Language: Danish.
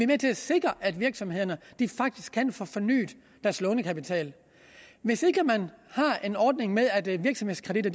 med til at sikre at virksomhederne faktisk kan få fornyet deres lånekapital hvis ikke man har en ordning med at virksomhedskreditter